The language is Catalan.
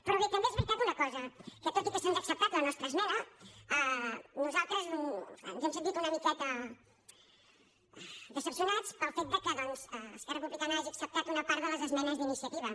però bé també és veritat una cosa que tot i que se’ns ha acceptat la nostra esmena nosaltres ens hem sentit una miqueta decebuts pel fet que esquerra republicana hagi acceptat una part de les esmenes d’iniciativa